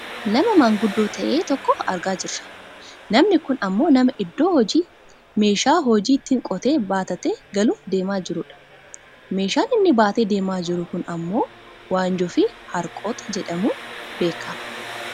Nama maanguddoo ta'e tokko argaa jirra. Namni kun ammoo nama iddoo hojiitii meeshaa hojii ittiin qotee baattatee galuuf deemaa jirudha. Meeshaan inni baatee deemaa jiru kun ammoo wanjoofi harqota jedhamuun beekkama.